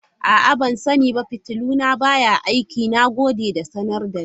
A'a, ban sani ba fitilu na baya aiki, na gode da sanar da ni.